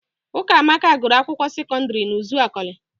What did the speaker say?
Ụkamaka gụrụ akwụkwọ sekọdịrị n'Ụzakọlị.